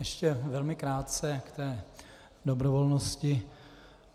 Ještě velmi krátce k té dobrovolnosti.